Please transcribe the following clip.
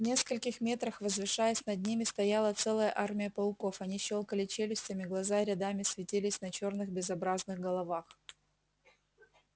в нескольких метрах возвышаясь над ними стояла целая армия пауков они щёлкали челюстями глаза рядами светились на черных безобразных головах